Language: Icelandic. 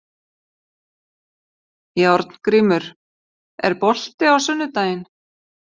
Járngrímur, er bolti á sunnudaginn?